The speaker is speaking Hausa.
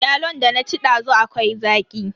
Yalon da na ci dazu akwai zaƙi.